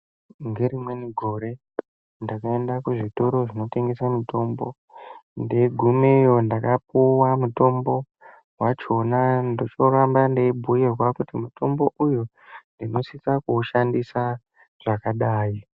Ngerimweni gore ndakaenda kuzvitoro zvinotengeswa mitombo, ndeyigumeyo ndakapuwa mutombo wachona. Ndochoramba ndeyibhuyirwa kuti mutombo uyu unosisa kuwushandisa zvakadayi.